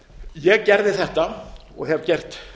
ég gerði þetta og hef gert